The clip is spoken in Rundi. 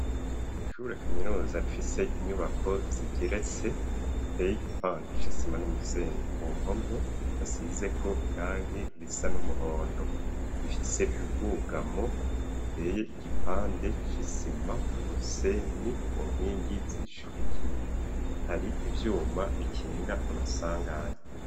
Ishure kaminuza rifise inyubako zigeretse ziteye igipande c'isima n'umusenyi ku mpome hasize ko irangi risa n'umuhondo zifise ubwugamo buteye igipande c'isima n'umusenyi ku nkingi zishidikiye hari ivyuma bikinga amasanganye.